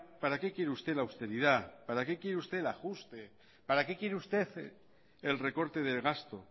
para qué quiere usted austeridad para qué quiere usted ajuste para qué quiere usted el recorte de gasto